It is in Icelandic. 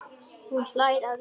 Hún hlær aðeins meira.